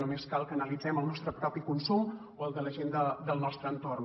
només cal que analitzem el nostre propi consum o el de la gent del nostre entorn